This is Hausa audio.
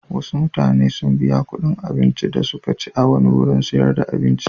Wasu mutane sun biya kuɗin abincin da suka ci a wani wurin sayar da abinci.